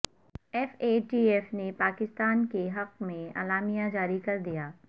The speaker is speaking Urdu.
ایف اے ٹی ایف نے پاکستان کے حق میں اعلامیہ جاری کردیا